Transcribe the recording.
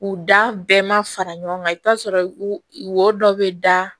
U da bɛɛ ma fara ɲɔgɔn kan i bɛ t'a sɔrɔ wo dɔ bɛ da